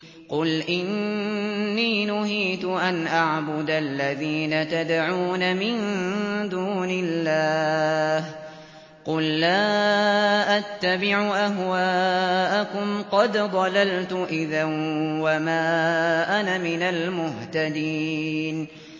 قُلْ إِنِّي نُهِيتُ أَنْ أَعْبُدَ الَّذِينَ تَدْعُونَ مِن دُونِ اللَّهِ ۚ قُل لَّا أَتَّبِعُ أَهْوَاءَكُمْ ۙ قَدْ ضَلَلْتُ إِذًا وَمَا أَنَا مِنَ الْمُهْتَدِينَ